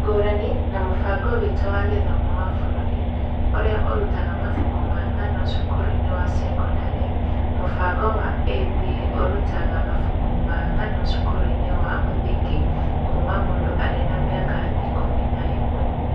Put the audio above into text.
Ngũrani na mũbango witũ wa gĩthomo wa bũrũri, ũrĩa ũrutaga mabuku ma ngano cukuru-inĩ wa cekondarĩ, mũbango wa ĩB ũrutaga mabuku ma ngano cukuru-inĩ wa mũthingi kuma mũndũ arĩ na mĩaka ikũmi na ĩmwe.